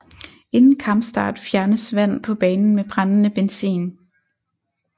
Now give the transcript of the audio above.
Inden kampstart fjernes vand på banen med brændende benzin